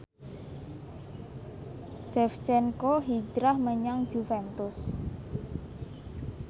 Shevchenko hijrah menyang Juventus